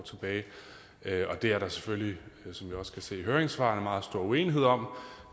og det er der selvfølgelig som vi også kan se i høringssvarene meget stor uenighed om